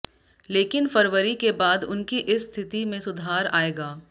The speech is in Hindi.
लेकिन फरवरी के बाद उनकी इस स्थिति में सुधार आएगा